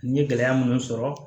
N ye gɛlɛya minnu sɔrɔ